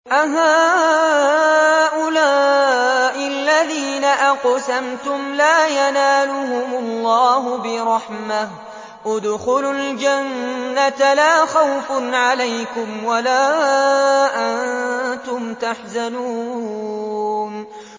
أَهَٰؤُلَاءِ الَّذِينَ أَقْسَمْتُمْ لَا يَنَالُهُمُ اللَّهُ بِرَحْمَةٍ ۚ ادْخُلُوا الْجَنَّةَ لَا خَوْفٌ عَلَيْكُمْ وَلَا أَنتُمْ تَحْزَنُونَ